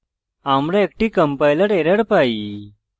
আমরা একটি compiler error পাই